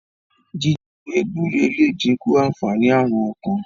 jíjẹ ewé gbúre le dinku ànfàní Àrùn ọkàn.